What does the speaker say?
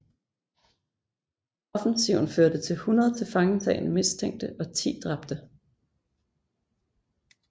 Offensiven førte til 100 tilfangetagne mistænkte og 10 dræbte